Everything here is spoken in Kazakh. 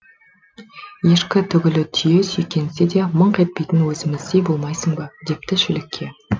ешкі түгілі түйе сүйкенсе де мыңқ етпейтін өзіміздей болмайсың ба депті шілікке